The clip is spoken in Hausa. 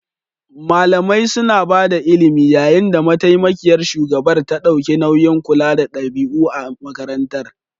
Malamai suna ba da ilimi yayin da mataimakiyar shugabar ta ɗauki nauyin kula da ɗabi'u a makarantar.